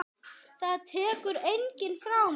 Það tekur enginn frá mér.